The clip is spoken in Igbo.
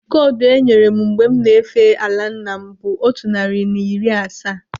Kodu enyere m mgbe m na-efe ala nna m bụ otu narị na iri asaa.